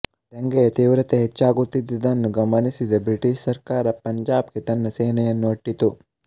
ದಂಗೆಯ ತೀವ್ರತೆ ಹೆಚ್ಚಾಗುತ್ತಿದ್ದುದನ್ನು ಗಮನಿಸಿದ ಬ್ರಿಟಿಷ್ ಸರ್ಕಾರ ಪಂಜಾಬ್ ಗೆ ತನ್ನ ಸೇನೆಯನ್ನು ಅಟ್ಟಿತು